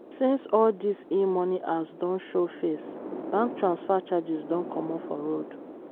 since all these e-money apps don show face bank transfer charges don comot for road.